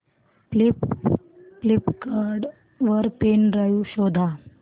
Flipkart वर pen drive शोधा